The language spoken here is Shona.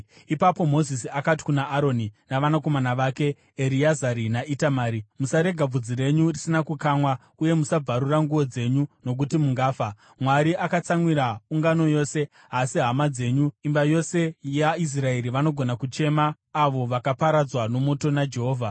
Ipapo Mozisi akati kuna Aroni navanakomana vake, Ereazari naItamari, “Musarega bvudzi renyu risina kukamwa uye musabvarura nguo dzenyu nokuti mungafa, Mwari akatsamwira ungano yose. Asi hama dzenyu, imba yose yaIsraeri, vanogona kuchema avo vakaparadzwa nomoto naJehovha.